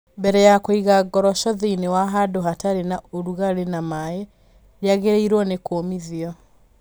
Mbere ya kũiga ngoroco thĩinĩ wa handũ hatarĩ na ũrugarĩ na maĩ, rĩagĩrĩirũo nĩ kũmithio.